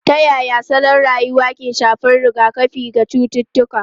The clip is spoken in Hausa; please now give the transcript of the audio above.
Ta yaya salon rayuwa ke shafar rigakafi ga cututtuka?